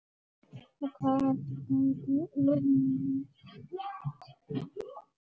Þetta gæti unnist.